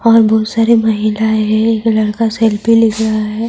اور بہت سارے مھیلہیں ہے، یگولڑکا سیلفی لے رہا ہے،